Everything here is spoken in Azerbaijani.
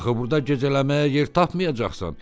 Axı burda gecələməyə yer tapmayacaqsan.